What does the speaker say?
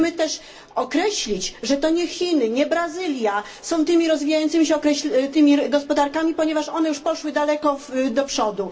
Musimy też określić, że to nie Chiny, nie Brazylia są tymi rozwijającymi się gospodarkami, ponieważ one już poszły daleko do przodu.